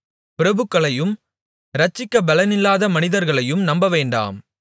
பிரபுக்களையும் இரட்சிக்கப் பெலனில்லாத மனிதர்களையும் நம்பவேண்டாம்